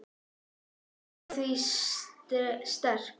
Passa mig á því sterka.